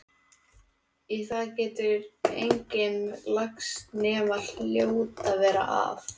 Í það getur enginn lagst nema hljóta verra af.